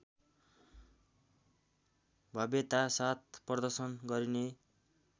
भव्यतासाथ प्रदर्शन गरिने